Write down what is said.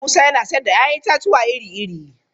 Musa yana sayar da 'ya'yan itatuwa iri-iri.